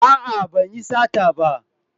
A'a ban yi sata ba